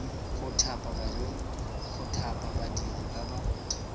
go thapa badiri ba ba